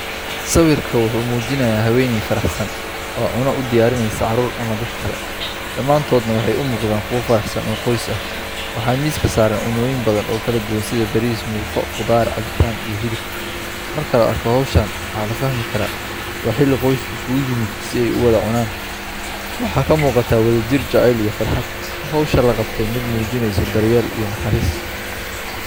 Sawirku wuxuu muujinayaa haweeney faraxsan oo cunno u diyaarinaysa caruur ama dad kale, dhammaantoodna waxay u muuqdaan kuwo faraxsan oo qoys ah. Waxaa miiska saaran cunnooyin badan oo kala duwan sida bariis, muufo, khudaar, cabitaan iyo hilib. Marka la arko hawshan, waxaa la fahmi karaa:Waa xilli qoysku isugu yimid si ay u wada cunaan. Waxaa ka muuqata wadajir, jacayl iyo farxad. Hawsha la qabtay waa mid muujinaysa daryeel iyo naxariis.